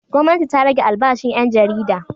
Gwamnati ta rage albashin ƴan jarida.